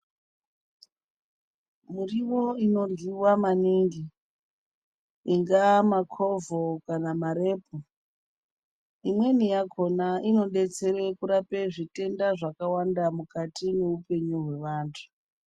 Murivo inoryiva maningi ingaa makovho kana marepu. Imweni yakona inobetsere kurapa zvitenda zvawanda mukati mweupenyu hwaevantu.